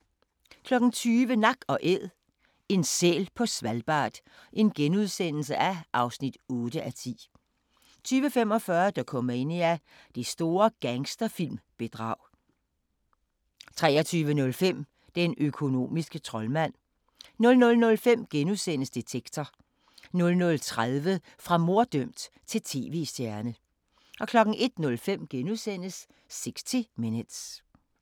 20:00: Nak & Æd – en sæl på Svalbard (8:10)* 20:45: Dokumania: Det store gangsterfilm-bedrag 23:05: Den økonomiske troldmand 00:05: Detektor * 00:30: Fra morddømt til tv-stjerne 01:05: 60 Minutes *